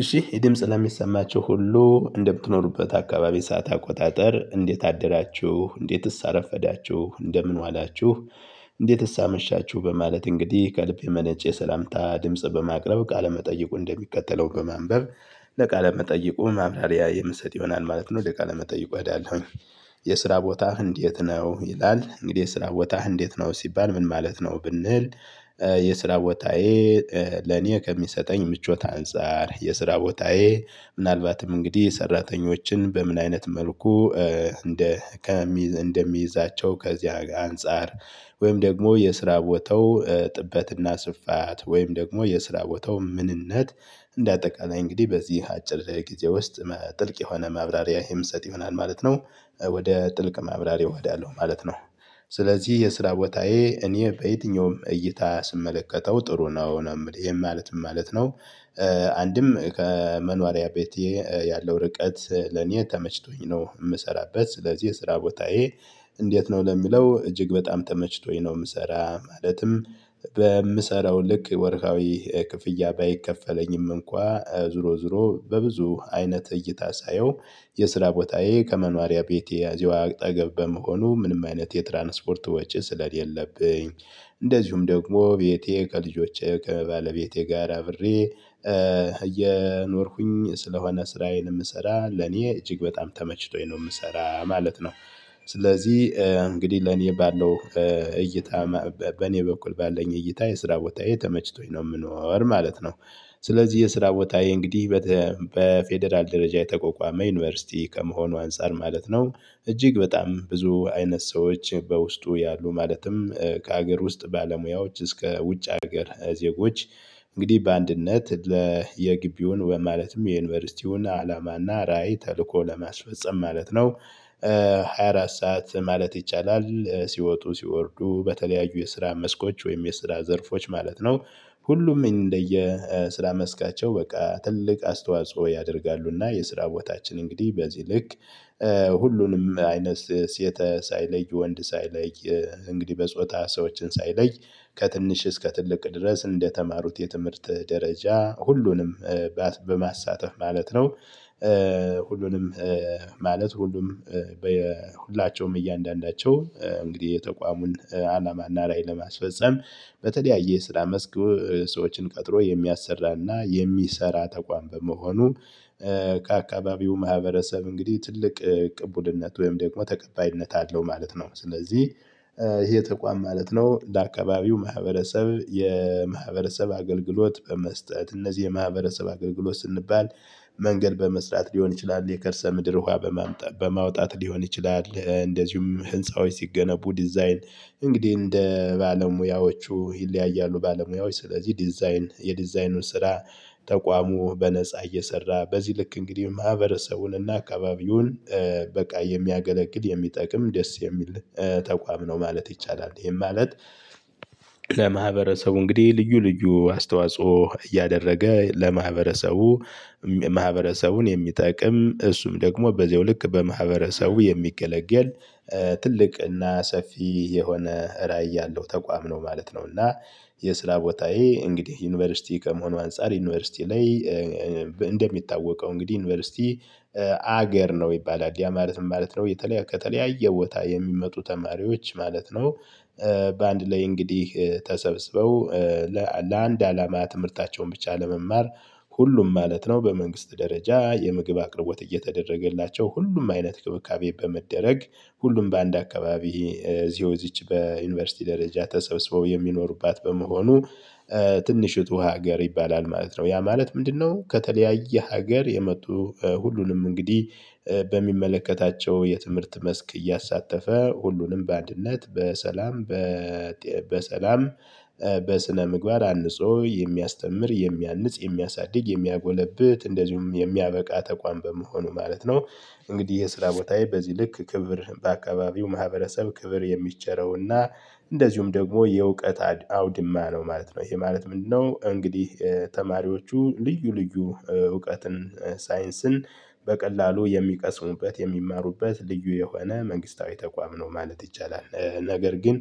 እሺ ይህ ድምጽ ለሚሰማቸው ሁሉ እንደምትኖሩበት አካባቢ ሰዓት አቆጣጠር እንዴት አደራችሁ እንዴትስ አረፈዳችሁ እንደምን ዋላችሁ። እንዴትስ አመሻችሁ በማለት እንግዲህ ከልብ የመነጨ ሰላምታ ድምጽ በማቅረብ ቃለመጠይቁን እንደሚከተለው በማንበብ ለቃለመጠይቁ ማብራሪያ የምሰጥ ይሆናል ማለት ነው። ወደ ቃለመጠይቁ እሄዳለሁኝ። የስራ ቦታህ እንዴት ነው ይላል? እንግዲህ የስራ ቦታህ እንዴት ነው ሲባል ምን ማለት ነው ብንል? የስራ ቦታዬ ለኔ ከሚሰጠኝ ምቾት አንፃር የስራ ቦታዬ ምናልባትም እንግዲህ ሰራተኞችን በምን አይነት መልኩ እንደ እንደምይዛቸው ከዚያ አንፃር። ወይም ደግሞ የስራ ቦታው ጥበት እና ስፋት ወይም ደግሞ የስራ ቦታው ምንነት። እንደ አጠቃላይ እንግዲህ በዚህ አጭር ጊዜ ውስጥ ጥልቅ የሆነ ማብራሪያ የምሰጥ ይሆናል ማለት ነው። ወደ ጥልቅ ማብራሪያው እሄዳለሁ ማለት ነው። ስለዚህ የስራ ቦታዬ እኔ በየትኛውም እይታ ስመለከተው ጥሩ ነው ነው የምልህ ይሄም ማለት ምን ማለት ነው? አንድም ከመኖሪያ ቤቴ ያለው ርቀት። ለኔ ተመችቶኝ ነው የምሰራበት ስለዚህ የስራ ቦታዬ። እንዴት ነው ለሚለው እጅግ በጣም ተመችቶኝ ነው የምሰራ ማለትም። በምሰራው ልክ ወርሃዊ ክፍያ ባይከፈለኝም እንኳ ዙሮ ዙሮ በብዙ አይነት እይታ ሳየው። የስራ ቦታዬ ከመኖሪያ ቤቴ እዚው አጠገብ በመሆኑ ምንም አይነት የትራንስፖርት ወጪ ስለሌለብኝ። እንደዚሁም ደግሞ ቤቴ ከልጆቼ ከባለቤቴ ጋር አብሬ እየኖርኩኝ ስለሆነ ስራዬን የምሰራ ለኔ እጅግ በጣም ተመችቶኝ ነው የምሰራ ማለት ነው። ስለዚህ እንግዲህ ለኔ ባለው እይታ በኔ በኩል ባለኝ እይታ የስራ ቦታዬ ተመችቶኝ ነው የምኖር ማለት ነው። ስለዚህ የስራ ቦታዬ እንግዲህ በፌደራል ደረጃ የተቋቋመ ዩኒቨርሲቲ ከመሆኑ አንፃር ማለት ነው። እጅግ በጣም ብዙ አይነት ሰዎች በውስጡ ያሉ ማለትም ከሀገር ውስጥ ባለሙያዎች እስከ ውጭ ሀገር ዜጎች። እንግዲህ በአንድነት ለ የግቢውን ማለትም የዩኒቨርሲቲውን አላማ እና ራዕይ ተልእኮ ለማስፈፀም ማለት ነው። ሃያ አራት ሰዓት ማለት ይቻላል ሲወጡ ሲወርዱ በተለያዩ የስራ መስኮች ወይም የስራ ዘርፎች ማለት ነው። ሁሉም እንደየ ስራ መስካቸው በቃ ትልቅ አስተዋጽኦ ያደርጋሉ እና የስራ ቦታችን እንግዲህ በዚህ ልክ። ሁሉንም አይነት ሴት ሳይለይ ወንድ ሳይለይ። እንግዲህ በጾታ ሰዎችን ሳይለይ ከትንሽ እስከ ትልቅ ድረስ እንደተማሩት የትምህርት ደረጃ ሁሉንም በማሳተፍ ማለት ነው። ሁሉንም ማለት ሁሉም በሁላቸውም እያንዳንዳቸው እንግዲህ የተቋሙን አላማ እና ራዕይ ለማስፈፀም በተለያየ ስራ መስክ ሰዎችን ቀጥሮ የሚያሰራ እና የሚሰራ ተቋም በመሆኑ። ከአካባቢው ማህበረሰብ እንግዲህ ትልቅ ቅቡልነት ወይም ደግሞ ተቀባይነት አለው ማለት ነው። ስለዚህ። ይሄ ተቋም ማለት ነው ለአካባቢው ማህበረሰብ የማህበረሰብ አገልግሎት በመስጠት እነዚህ የማህበረሰብ አገልግሎት ስንባል? መንገድ በመስራት ሊሆን ይችላል የከርሰ ምድር ውሃ በማምጣት በማውጣት ሊሆን ይችላል እንደዚሁም ህንፃዎች ሲገነቡ ዲዛይን። እንግዲህ እንደ ባለሙያዎቹ ይለያያሉ ባለሙያዎች ስለዚህ ዲዛይን የዲዛይኑን ስራ። ተቋሙ በነፃ እየሰራ በዚህ ልክ እንግዲህ ማህበረሰቡን እና አካባቢውን። በቃ የሚያገለግል የሚጠቅም ደስ የሚል ተቋም ነው ማለት ይቻላል ይሄም ማለት። ለማህበረሰቡ እንግዲህ ልዩ ልዩ አስተዋጽኦ እያደረገ ለማህበረሰቡ። ማህበረሰቡን የሚጠቅም እሱም ደግሞ በዚያው ልክ በማህበረሰቡ የሚገለገል ትልቅ እና ሰፊ የሆነ ራዕይ ያለው ተቋም ነው ማለት ነው እና። የስራ ቦታዬ እንግዲህ ዩኒቨርሲቲ ከመሆኑ አንፃር ዩኒቨርሲቲ ላይ። እንደሚታወቀው እንግዲህ ዩኒቨርሲቲ። ሀገር ነው ይባላል ያ ማለት ምን ማለት ነው? የተለያየ ከተለያየ ቦታ የሚመጡ ተማሪዎች ማለት ነው። በአንድ ላይ እንግዲህ ተሰብስበው። ለአንድ አላማ ትምህርታቸውን ብቻ ለመማር ሁሉም ማለት ነው በመንግስት ደረጃ የምግብ አቅርቦት እየተደረገላቸው ሁሉም አይነት እንክብካቤ በመደረግ ሁሉም በአንድ አካባቢ እዚያው እዚች በዩኒቨርሲቲ ደረጃ ተሰብስበው የሚኖሩባት በመሆኑ። ትንሽቱ ሀገር ይባላል ማለት ነው ያ ማለት ምንድነው? ከተለያየ ሀገር የመጡ ሁሉንም እንግዲህ በሚመለከታቸው የትምህርት መስክ እያሳተፈ ሁሉንም በአንድነት በሰላም። በሰላም በስነምግባር አንጾ የሚያስተምር የሚያንጽ የሚያሳድግ የሚያጎለብት እንደዚሁም የሚያበቃ ተቋም በመሆኑ ማለት ነው። እንግዲህ የስራ ቦታዬ በዚህ ልክ ክብር በአካባቢው ማህበረሰብ ክብር የሚቸረው እና እንደዚሁም ደግሞ የእውቀት አድ አውድማ ነው ማለት ነው። ይሄ ማለት ምንድነው? እንግዲህ ተማሪዎቹ ልዩ ልዩ እውቀትን ሳይንስን በቀላሉ የሚቀስሙበት የሚማሩበት ልዩ የሆነ መንግስታዊ ተቋም ነው ማለት ይቻላል። ነገር ግን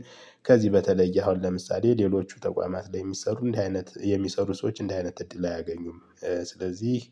ከዚህ በተለይ አሁን ለምሳሌ ሌሎቹ ተቋማት ላይ የሚሰሩ እንዲህ አይነት የሚሰሩ ሰዎች እንዲህ አይነት እድል አያገኙም። ስለዚህ